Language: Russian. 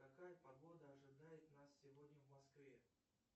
какая погода ожидает нас сегодня в москве